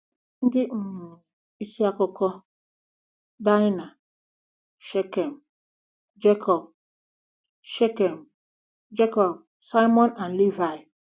Ndị um isi akụkọ: Daịna, Shekem, Jekọb, Shekem, Jekọb, Simiọn, na Livaị